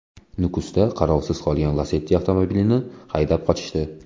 Nukusda qarovsiz qolgan Lacetti avtomobilini haydab qochishdi.